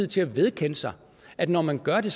til at vedkende sig at når man gør det